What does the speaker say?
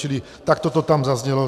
Čili takto to tam zaznělo.